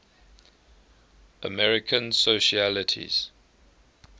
american socialites